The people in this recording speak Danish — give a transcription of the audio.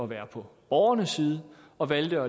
være på borgernes side og valgte